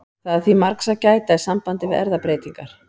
Það er því margs að gæta í sambandi við erfðabreytingar.